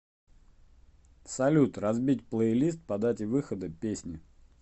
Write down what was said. салют разбить плейлист по дате выхода песни